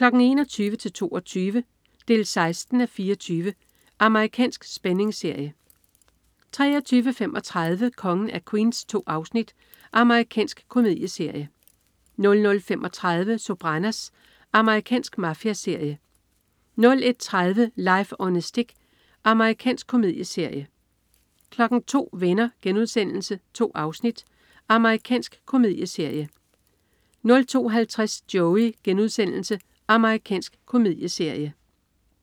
21:00-22:00. 16:24. Amerikansk spændingsserie 23.35 Kongen af Queens. 2 afsnit. Amerikansk komedieserie 00.35 Sopranos. Amerikansk mafiaserie 01.30 Life on a Stick. Amerikansk komedieserie 02.00 Venner.* 2 afsnit. Amerikansk komedieserie 02.50 Joey.* Amerikansk komedieserie